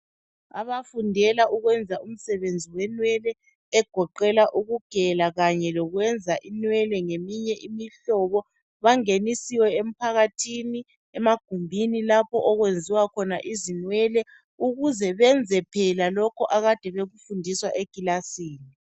Abafundela ukwenza umsebenzi wenwele egoqela ukugela kanye lokwenza inwele ngeminye imihlobo bangenisiwe emphakathini emagumbinilapho okwenziwa khona izinwele ukuze benze phela lokho abakade bekufunda ekilasini.